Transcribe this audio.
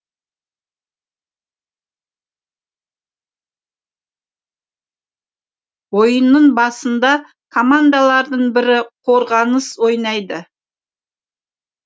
ойынның басында командалардың бірі қорғаныс ойнайды